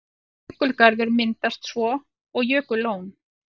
Jökulgarður myndast svo og jökullón.